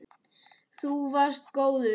Þú varst góður.